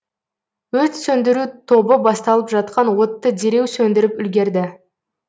өрт сөндіру тобы басталып жатқан отты дереу сөндіріп үлгерді